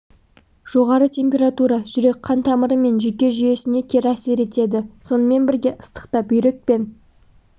жоғары температура жүрек-қан тамыры мен жүйке жүйесіне кері әсер етеді сонымен бірге ыстықта бүйрек пен